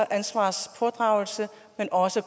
ansvarspådragelse men også